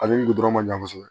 Ale ni gudɔrɔn ma jan kosɛbɛ